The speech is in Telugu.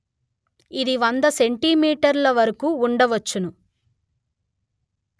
ఇది వంద సెంటీమీటర్ ల వరకు ఉండవచ్చును